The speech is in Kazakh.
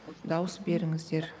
дауыс беріңіздер